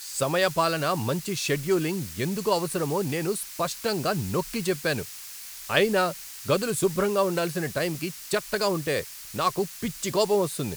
సమయపాలన, మంచి షెడ్యూలింగ్ ఎందుకు అవసరమో నేను స్పష్టంగా నొక్కిచెప్పాను, అయినా గదులు శుభ్రంగా ఉండాల్సిన టైంకి చెత్తగా ఉంటె నాకు పిచ్చి కోపం వస్తుంది.